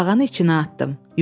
Tısbağanı içinə atdım.